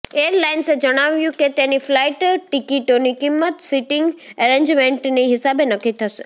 એરલાઇન્સે જણાવ્યું કે તેની ફ્લાઇટ ટિકિટોની કિંમત સિટીંગ અરેન્જમેન્ટની હિસાબે નક્કી થશે